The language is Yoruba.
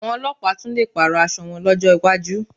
Àwọn ọlọ́pàá tún lè pààrọ̀ aṣọ wọn lọ́jọ́ iwájú